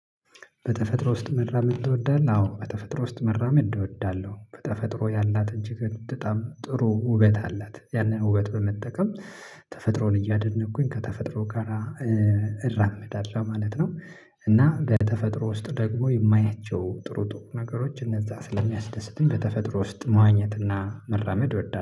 በተፈጥሮ ውስጥ መራመድ ትወዳለህ? አዎ በተፈጥሮ ውስጥ መራመድ እወዳለሁ በተፈጥሮ ያላት እጅግ በጣም ጥሩ ውበት አላት ያንን ውበት በመጠቀም ተፈጥሮን እያደነቅኩኝ ከተፈጥሮ ጋራ እራመዳለሁ ማለት ነው። እና በተፈጥሮ ውስጥ ደግሞ የማያቸው ጥሩ ጥሩ ነገሮች እነዛ ስለሚያስደስቱኝ በተፈጥሮ ውስጥ ማዋኘት እና መራመድ እወዳለሁ